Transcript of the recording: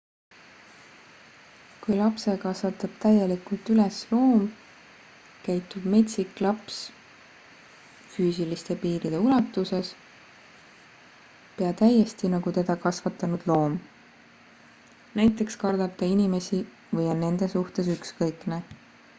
kui lapse kasvatab täielikult üles loom käitub metsik laps füüsiliste piiride ulatuses pea täiesti nagu teda kasvatanud loom näiteks kardab ta inimesi või on nende suhtes ükskõikne